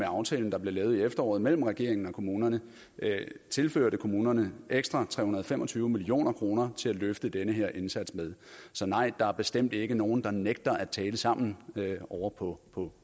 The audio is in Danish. aftale der blev lavet i efteråret mellem regeringen og kommunerne tilførte kommunerne ekstra tre hundrede og fem og tyve million kroner til at løfte den her indsats med så nej der er bestemt ikke nogen der nægter at tale sammen ovre på